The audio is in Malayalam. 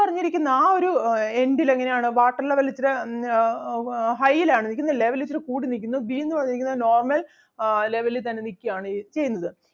പറഞ്ഞിരിക്കുന്ന ആ ഒരു അഹ് end ല് എങ്ങനെ ആണ് water level ഇച്ചിര അഹ് ആഹ് high ലാണ് നിക്കുന്നത് level ഇച്ചിരി കൂടി നിക്കുന്നു. B എന്ന് പറഞ്ഞിരിക്കുന്നത് normal ആഹ് level ൽ തന്നെ നിക്കയാണ് ചെയ്യുന്നത്.